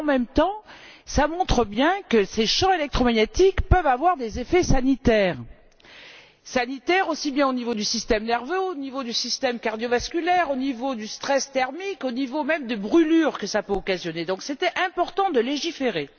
En même temps, cela montre bien que ces champs électromagnétiques peuvent avoir des effets sanitaires, aussi bien au niveau du système nerveux, au niveau du système cardiovasculaire, au niveau du stress thermique, au niveau même des brûlures qu'ils peuvent occasionner. Il était donc important de légiférer.